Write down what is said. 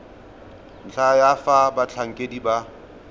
ntlha ya fa batlhankedi ba